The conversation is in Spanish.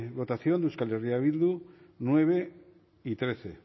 votación de euskal herria bildu nueve y trece